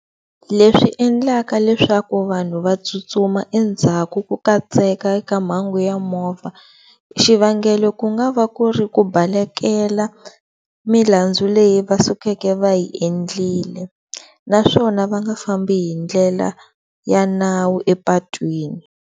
Leswi endlaka leswaku vanhu va tsutsuma endzhaku ko katseka eka mhangu ya movha xivangelo ku nga va ku ri ku baleka milandzu leyi vasukeke va yi endlile naswona va nga fambi hindlela ya nawu epatwini.